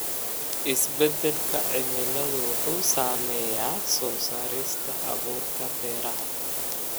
Isbeddelka cimiladu wuxuu saameeyaa soo saarista abuurka beeraha.